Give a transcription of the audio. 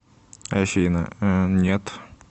афина э нет